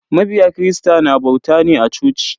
Mabiya kirista na bauta ne a coci.